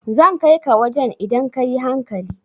Zan kai ka wajan idan ka yi hankali